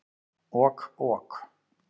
Ok ok.